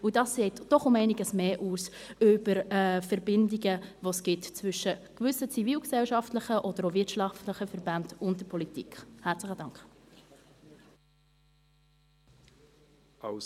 Dies sagt doch einiges mehr über die Verbindungen zwischen gewissen zivilgesellschaftlichen oder auch wirtschaftlichen Verbänden und der Politik aus.